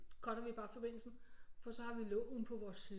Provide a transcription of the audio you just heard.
Cutter vi bare forbindelsen for så har vi loven på vores side